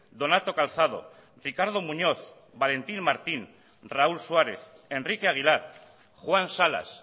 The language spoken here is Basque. donato calzado ricardo muñoz valentín martín raúl suárez enrique aguilar juan salas